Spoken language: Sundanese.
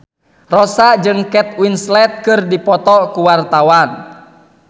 Rossa jeung Kate Winslet keur dipoto ku wartawan